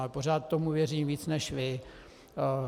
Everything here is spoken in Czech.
Ale pořád tomu věřím víc než vy.